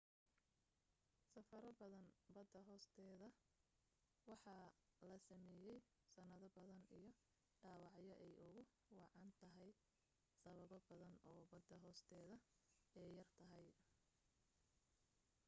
safaro badan bada hoosteda waxaa la sameeyey sanado badan iyo dhawacyo ay ugu wacan tahaya sababo badan oo bada hoosteda ay yar tahay